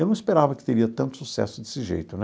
Eu não esperava que teria tanto sucesso desse jeito né.